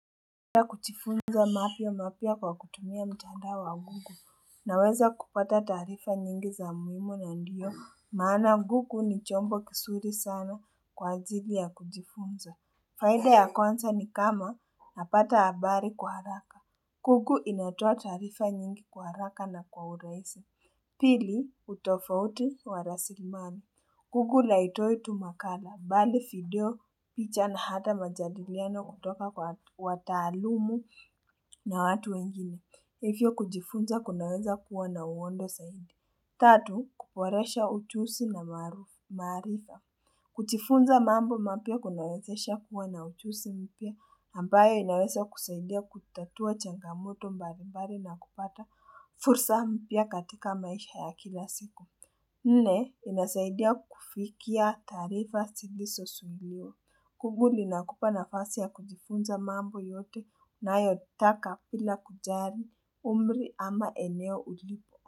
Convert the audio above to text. Kujifunza mambo mapia kwa kutumia mtandao wa google naweza kupata taarifa nyingi za muhimu na ndiyo maana google ni chombo kizuri sana kwa ajili ya kujifunza faida ya kwanza ni kama napata habari kwa haraka. Google inatoa taarifa nyingi kwa haraka na kwa urahisi Pili utofauti wa rasilimali. Google haitoi tu makala, bali video, picha na hata majadiliano kutoka kwa wataalumu na watu wengine. Hivyo kujifunza kunaweza kuwa na uwondo zaidi. Tatu, kuboresha ujuzi na maharufu maarifa. Kujifunza mambo mapia kunawezesha kuwa na ujuzi mpia, ambayo inaweza kusaidia kutatua changamoto mbali mbali na kupata fursa mpia katika maisha ya kila siku. Nne, inasaidia kufikia taarifa zilizo suluhio. Google inakupa nafasi ya kujifunza mambo yote unayotaka bila kujali umri ama eneo ulipo.